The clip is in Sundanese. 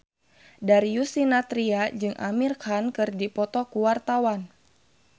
Darius Sinathrya jeung Amir Khan keur dipoto ku wartawan